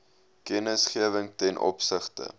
kennisgewing ten opsigte